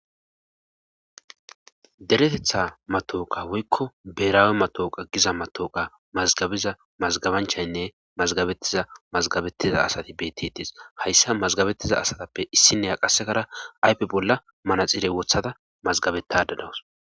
Deretetha matooqa woykko beeraawe matooqa giza matooqa mazgabiza mazgabanchaynne mazgabettiza mazgabettiza asati betitees hayssa mazgabettiza asatappe issinne a qasekara aype bolla manaxiirey wothada mazgabetadanawus.